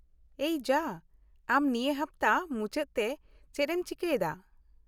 -- ᱮᱭ ᱡᱟ , ᱟᱢ ᱱᱤᱭᱟᱹ ᱦᱟᱯᱚᱛᱟ ᱢᱩᱪᱟᱹᱫ ᱛᱮ ᱪᱮᱫ ᱮᱢ ᱪᱤᱠᱟᱹᱭ ᱫᱟ ?